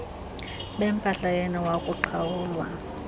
bempahla yenu wakuqhawulwa